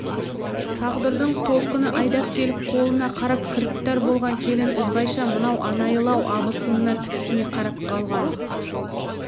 тағдырдың толқыны айдап келіп қолына қарап кіріптар болған келіні ізбайша мынау анайылау абысынына тіксіне қарап қалған